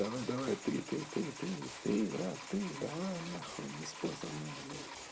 давай давай ты ты ты ты ты брат ты давай на хуй не спорь со мной блять